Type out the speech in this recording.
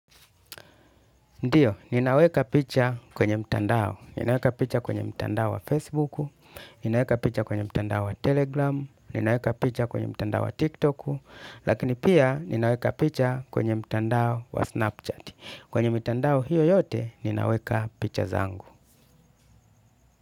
Ndiyo, ninaweka picha kwenye mtandao. Ninaweka picha kwenye mtandao wa Facebook, ninaweka picha kwenye mtandao wa telegram, ninaweka picha kwenye mtandao wa tikTok, lakini pia ninaweka picha kwenye mtandao wa Snapchat. Kwenye mtandao hiyo yote ninaweka picha zangu.